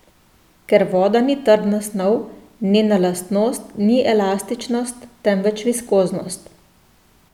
Ker voda ni trdna snov, nena lastnost ni elastičnost, temveč viskoznost.